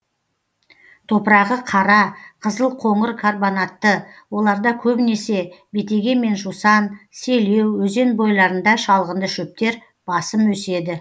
топырағы қара қызыл қоңыр карбонатты оларда көбінесе бетеге мен жусан селеу өзен бойларында шалғынды шөптер басым өседі